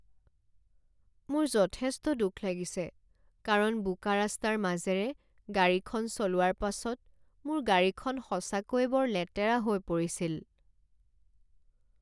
মোৰ যথেষ্ট দুখ লাগিছে কাৰণ বোকা ৰাস্তাৰ মাজেৰে গাড়ীখন চলোৱাৰ পাছত মোৰ গাড়ীখন সঁচাকৈয়ে বৰ লেতেৰা হৈ পৰিছিল।